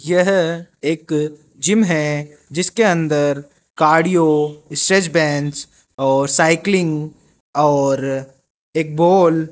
यह एक जिम है जिसके अंदर कार्डियो स्ट्रैच बैंडस और साइक्लिंग और एक बोल --